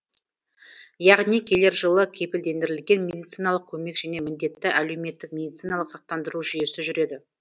яғни келер жылы кепілдендірілген медициналық көмек және міндетті әлеуметтік медициналық сақтандыру жүйесі жүреді